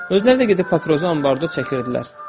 Özləri də gedib papirosu ambarda çəkirdilər.